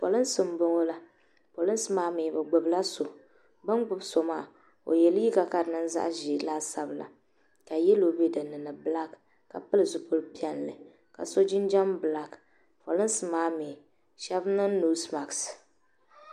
polinsi n bɔŋɔ la polinsi maa mii bi gbubila so bi ni gbubi so maa o yɛ liiga ka di niŋ zaɣ ʒiɛ laasabu la ka yɛlo bɛ dinni ni bilak ka pili zipili piɛlli ka so jinjɛm bilak polinsi maa mii shab niŋ noos mask